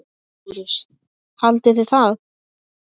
Hvernig eru verstu veðrin hérna?